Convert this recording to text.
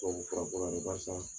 Tubabufura ko la de barisa